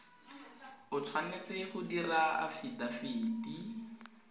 o tshwanetse go dira afidafiti